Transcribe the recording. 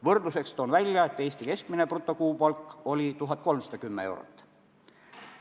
Võrdluseks toon välja, et Eesti keskmine brutokuupalk oli 1310 eurot.